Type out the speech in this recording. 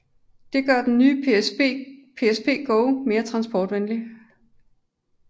Dette gør den nye PSP Go mere transportvenlig